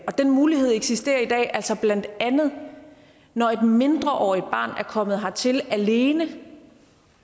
den mulighed eksisterer i dag altså blandt andet når et mindreårigt barn er kommet hertil alene